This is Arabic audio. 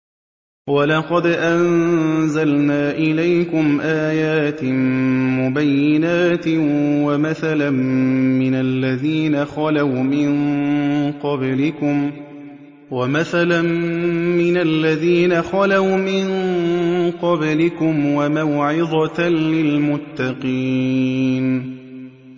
وَلَقَدْ أَنزَلْنَا إِلَيْكُمْ آيَاتٍ مُّبَيِّنَاتٍ وَمَثَلًا مِّنَ الَّذِينَ خَلَوْا مِن قَبْلِكُمْ وَمَوْعِظَةً لِّلْمُتَّقِينَ